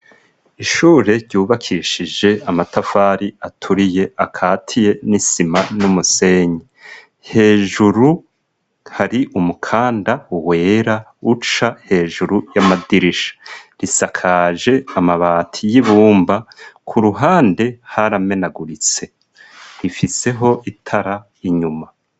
Ishure ryubakishije amatafari aturiye akatiye n'isima n'umusenyi. Hejuru hari umukanda wera uca hejuru y'amadirisha, risakaje amabati y'ibumba ku ruhande haramenaguritse. Ifiseho itara inyuma.